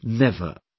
No, never